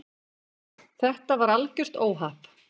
Þetta var algjört óhapp.